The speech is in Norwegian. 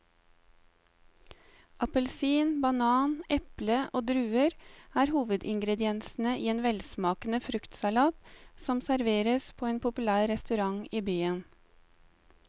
Appelsin, banan, eple og druer er hovedingredienser i en velsmakende fruktsalat som serveres på en populær restaurant i byen.